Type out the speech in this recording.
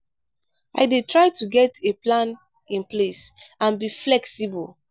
i dey try to get a plan in place and be flexible.